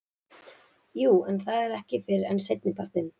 Jú en það er ekki fyrr en seinnipartinn.